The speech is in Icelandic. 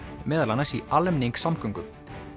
meðal annars í almenningssamgöngum